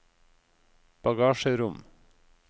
bagasjerom